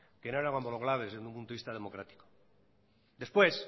que no eran homologables desde un punto de vista democrático después